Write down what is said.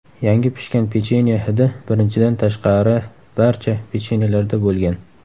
Yangi pishgan pechenye hidi birinchidan tashqari barcha pechenyelarda bo‘lgan.